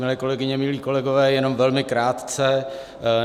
Milé kolegyně, milí kolegové, jenom velmi krátce.